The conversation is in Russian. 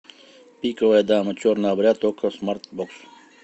пиковая дама черный обряд окко смартбокс